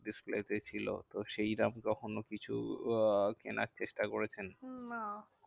Display তে ছিল তো সেইরম কখনো কিছু আহ কেনার চেষ্টা করেছেন? না